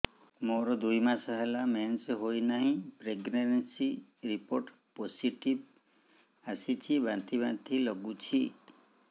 ମୋର ଦୁଇ ମାସ ହେଲା ମେନ୍ସେସ ହୋଇନାହିଁ ପ୍ରେଗନେନସି ରିପୋର୍ଟ ପୋସିଟିଭ ଆସିଛି ବାନ୍ତି ବାନ୍ତି ଲଗୁଛି